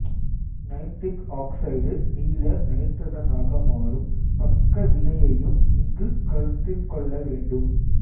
nitric oxide மீள நைட்ரசனாக மாறும் பக்க வினையையும் இங்கு கருத்திற் கொள்ள வேண்டும்